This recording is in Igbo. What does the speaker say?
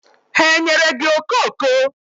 Ha enyere gị okoko?